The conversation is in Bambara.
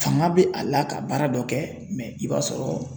Fanga be a la ka baara dɔ kɛ mɛ i b'a sɔrɔ